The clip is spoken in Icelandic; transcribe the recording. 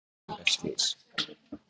Dans er gárunga glys.